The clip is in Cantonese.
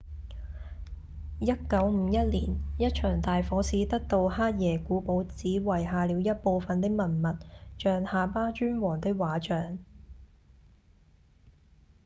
1951年一場大火使得杜克耶古堡只遺下了一部份的文物像夏巴尊王的畫像